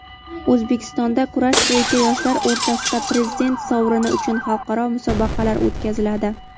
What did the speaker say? O‘zbekistonda kurash bo‘yicha yoshlar o‘rtasida prezident sovrini uchun xalqaro musobaqalar o‘tkaziladi.